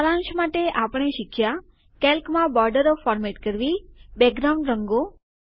સારાંશ માટે આપણે શીખ્યા કેલ્કમાં બોર્ડરો ફોર્મેટ કરવી બેકગ્રાઉન્ડ રંગો